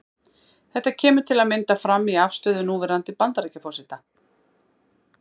Þetta kemur til að mynda fram í afstöðu núverandi Bandaríkjaforseta.